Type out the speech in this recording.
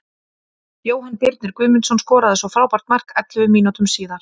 Jóhann Birnir Guðmundsson skoraði svo frábært mark ellefu mínútum síðar.